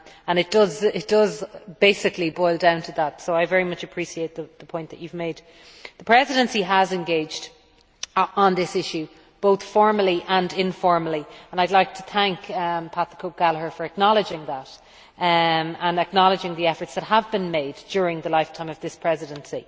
It basically boils down to that, so I very much appreciate the point that you made. The Presidency has engaged on this issue both formally and informally, and I would like to thank Pat the Cope Gallagher for acknowledging that and acknowledging the efforts that have been made during the lifetime of this Presidency.